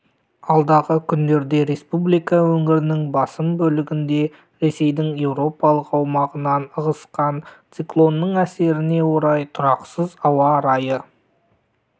алдағы күндерде республика өңірінің басым бөлігінде ресейдің еуропалық аумағынан ығысқан циклонның әсеріне орай тұрақсыз ауа райы